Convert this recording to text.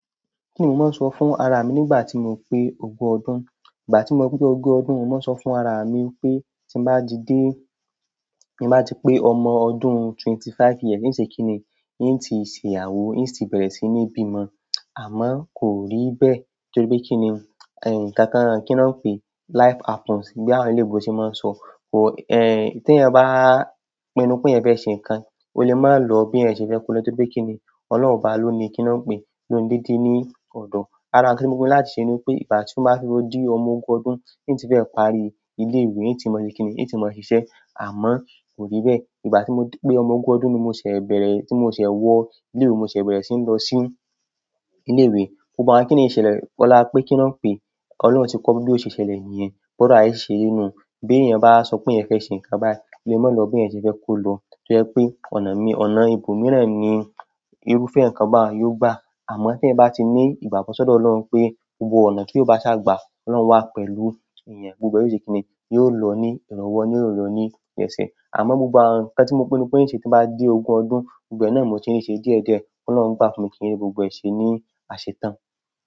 Kíni mò ń sọ fún ara mi nígbà tí mo pé ogún ọdún. Nígbà tí mo pé ogún ọdún, mò ń sọ fún ara mi pé tí n bá ti dé, mi máa ti pé ọmọ ọdún twenty five years. N ó ṣe kíni? Hin ti ṣe ìyàwó, hin ti bẹ̀rẹ̀ sí ní bímọ. Àmọ́ kò rí bẹ́ẹ̀ torí pé kíni, ẹ̀, kankan kí n pé, life happens bí àwọn eléébo ṣe máa ń sọ. Or ti eyan ba pinu pe eyan fe se nkan o le maa lo bi eyan se fe kolo torí pe kini olohun oba loni kini wọn pe loni dede ni ọdọ. Ara tí mo pinnu láti ṣe ni pé ìgbà tí mo bá fi ro di ọmọ ogún ọdún, hin ti fẹ́ parí ilé ìwé, hin ti máa ṣe kíni, hin ti máa ṣiṣẹ́. Àmọ́ kò rí bẹ́ẹ̀. Nígbà tí mo pé ọmọ ogún ọdún ni mo ṣẹ̀ bẹ̀rẹ̀, tí mo ṣẹ̀ wọ ilé ìwé, mo ṣẹ̀ bẹ̀rẹ̀ sí ń lọ sí ilé ìwé. Gbogbo àwọn kíni ìṣẹ̀lẹ̀ ọlá pé kí n pé, Ọlọ́run ti kọ́ bí ó ṣe ṣẹlẹ̀ niyẹn, bóro aye ṣiṣe ri nú. Bi eyan ba sope oun fe se nkan bayi o le máa lo bi eyan se fe je kolo tojepe ọ̀nà ibòmíràn ni irúfẹ́ nkan ba n yóò gba. Àmọ́ tí ẹ̀yan bá ti ní ìgbàgbọ́ sódọ̀ Ọlọ́run pé gbogbo ọ̀nà tí ó bá ṣágbà, Ọlọ́run wà pẹ̀lú èèyàn, gbogbo ẹ o ṣe kíni yóò lọ ní ìrànwọ́, yóò lọ ní ìrẹ́ṣẹ́. Àmọ́ gbogbo àwọn ǹkan tí mo pinnu pé yén ṣe tí bá dé ogún ọdún, gbogbo ẹná mo ti ń ṣe díẹ̀díẹ̀, kó Ọlọ́run gbà fún mi kí n rí gbogbo ẹ ṣe ní àṣetán.